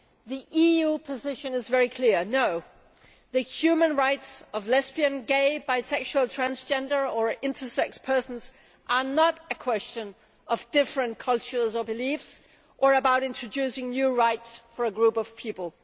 The EU position is very clear no, the human rights of lesbian, gay, bisexual, transgender or intersex persons are not a question of different cultures or beliefs, or about introducing new rights for a group of people.